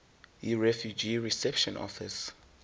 yirefugee reception office